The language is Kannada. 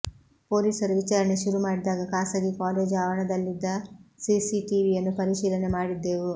ಪೊಲೀಸರು ವಿಚಾರಣೆ ಶುರುಮಾಡಿದಾಗ ಖಾಸಗಿ ಕಾಲೇಜು ಆವರಣದಲ್ಲಿದ್ದ ಸಿಸಿಟಿವಿಯನ್ನು ಪರಿಶೀಲನೆ ಮಾಡಿದ್ದೆವು